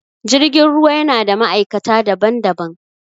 Jirgin ruwa yana da ma'aikata daban-daban